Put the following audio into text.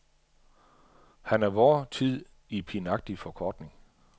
Han er vor tid i pinagtig forkortning.